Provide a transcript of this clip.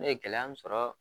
Ne ye gɛlɛya mun sɔrɔ